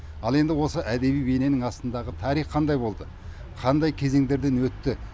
ал енді осы әдеби бейненің астындағы тарих қандай болды қандай кезеңдерден өтті